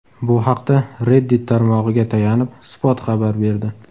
Bu haqda Reddit tarmog‘iga tayanib, Spot xabar berdi .